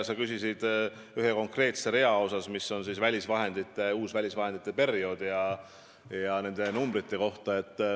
Sa küsisid ühe konkreetse rea kohta, mis kajastab uut välisvahendite perioodi ja asjaomaseid numbreid.